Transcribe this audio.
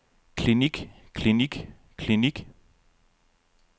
klinik klinik klinik